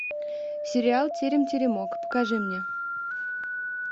сериал терем теремок покажи мне